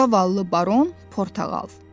Zavallı Baron Portağal.